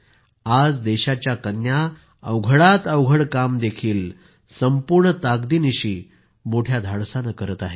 आज देशाच्या कन्या अवघडात अवघड कामही संपूर्ण ताकदीनिशी मोठ्या धाडसाने करीत आहेत